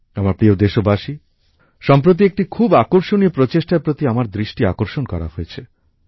আমার প্রিয় দেশবাসী সম্প্রতি একটি খুব আকর্ষণীয় প্রচেষ্টার প্রতি আমার দৃষ্টি আকর্ষণ করা হয়েছে